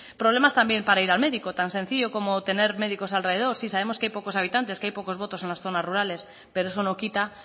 problemas también para ir al médico tan sencillo como tener médicos alrededor sí sabemos que hay pocos habitantes que hay pocos votos en las zonas rurales pero eso no quita